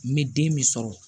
Me den min sɔrɔ